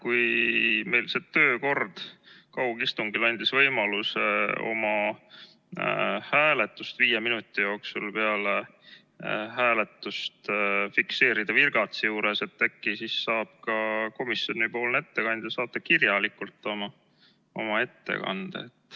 Kui see kaugistungi töökord andis meile võimaluse oma hääle viie minuti jooksul peale hääletust virgatsi juures fikseerida, siis äkki saab ka komisjoni ettekandja saata oma ettekande kirjalikult?